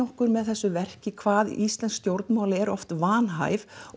okkur með þessu verki hvað íslensk stjórnvöld eru oft vanhæf